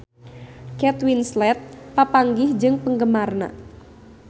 Kate Winslet papanggih jeung penggemarna